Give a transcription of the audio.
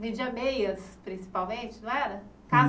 Vendia meias, principalmente, não era?